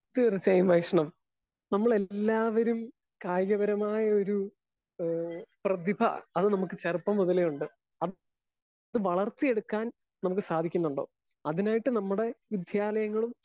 Speaker 1 തീർച്ചയായും വൈഷ്ണവ് നമ്മളെല്ലാവരും കായികപരമായൊരു ഏഹ് പ്രഭിത അത് നമുക്ക് ചെറുപ്പം മുതലേയുണ്ട്. അത് വളർത്തി എടുക്കാൻ നമുക്ക് സാധിക്കുന്നുണ്ടോ? അതിനായിട്ട് നമ്മുടെ വിദ്യാലയങ്ങളും